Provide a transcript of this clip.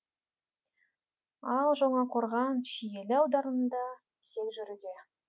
ал жаңақорған шиелі аудандарында сел жүруде